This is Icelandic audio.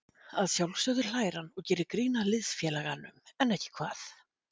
Að sjálfsögðu hlær hann og gerir grín að liðsfélaganum, en ekki hvað?